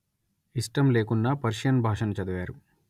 ఇష్టంలేకున్నా Persian భాషను చదివారు